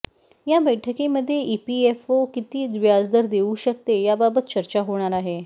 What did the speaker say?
या बैठकीमध्ये इपीएफओ किती व्याजदर देऊ शकते याबाबत चर्चा होणार आहे